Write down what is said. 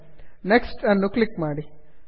next next ಅನ್ನು click ಮಾಡಿ